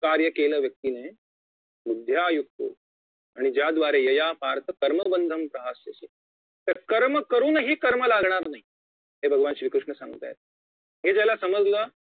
कार्य केलं व्यक्तीने बुद्धया युक्तो आणि ज्याद्वारे यया पार्थ कर्मबन्धम प्रहास्यसि तर कर्म करुनही कर्म लागणार नाही हे भगवान श्री कृष्ण सांगतायेत हे ज्याला समजलं